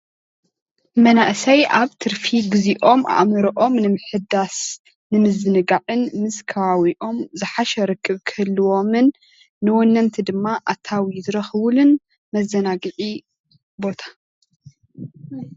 መናእሰይ ኣብ ትርፊ ግዚኦም ኣእሞሮኦም ንምሕዳስን ንምዝንጋዕን ምስ ከባቢኦም ዝሓሸ ርክብ ኽህልዎምን ንወነንቲ ድማ ኣታዊ ዝርኽቡሉን መዘናግዒ ቦታ